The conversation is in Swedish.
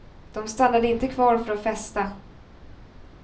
De stannade inte kvar för att festa.